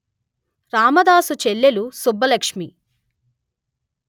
రామదాసు చెల్లెలు సుబ్బలక్ష్మి